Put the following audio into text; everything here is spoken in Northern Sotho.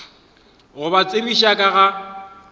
go ba tsebiša ka ga